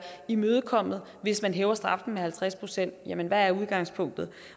imødekommet hvis man hæver straffen med halvtreds procent jamen hvad er udgangspunktet